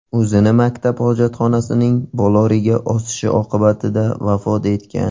o‘zini maktab hojatxonasining boloriga osishi oqibatida vafot etgan.